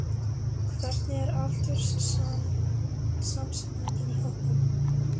Hvernig er aldurssamsetningin í hópnum?